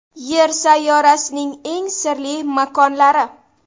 Yer sayyorasining eng sirli makonlari .